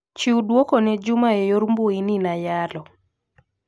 Chiw duoko ne Juma e yor mbui ni nayalo.